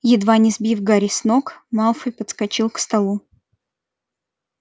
едва не сбив гарри с ног малфой подскочил к столу